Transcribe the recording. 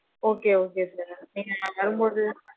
Okay, okay sir. உம் நான் வரும்போது~